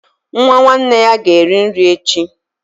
Nwa nwanne ya ga-eri nri echi